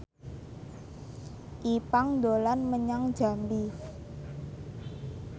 Ipank dolan menyang Jambi